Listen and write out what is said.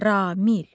Ramil.